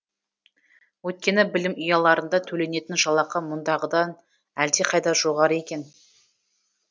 өйткені білім ұяларында төленетін жалақы мұндағыдан әлдеқайда жоғары екен